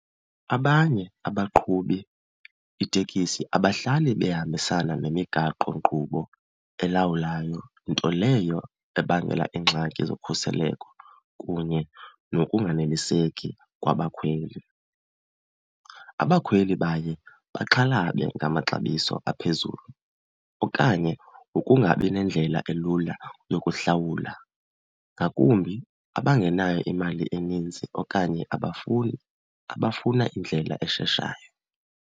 Abanye abaqhubi itekisi abahlali behambisana nemigaqonkqubo elawulayo, nto leyo ebangela iingxaki zokhuseleko kunye nokunganeliseki kwabakhweli. Abakhweli baye baxhalabe ngamaxabiso aphezulu okanye ngokungabi nendlela elula yokuhlawula, ngakumbi abangenayo imali eninzi okanye abafuni, abafuna indlela esheshayo.